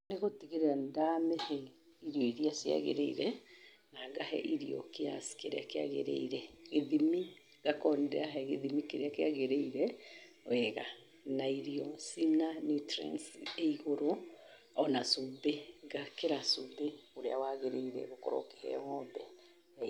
Nigũtigĩrĩra nĩ ndamihee irio irĩa cia gĩrĩire na ngahe irio kiasi kĩrĩa kiagirĩire. Gĩthimi ngakorwo nĩ ndĩrahee gĩthimi kĩrĩa kiagirĩire wega na irio cina nutrients igũrũ, ona cumbĩ, ngekĩra cumbĩ ũrĩa wagĩrĩire gũkorwo ũkĩheo ng'ombe.